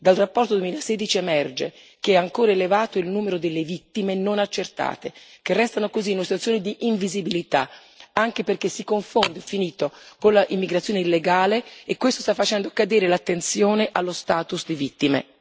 Dalla relazione 2016 emerge che è ancora elevato il numero delle vittime non accertate, che restano così in una situazione di invisibilità, anche perché si confondono con l'immigrazione illegale e questo sta facendo cadere l'attenzione sullo status di vittime.